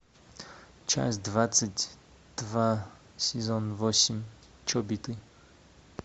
часть двадцать два сезон восемь чобиты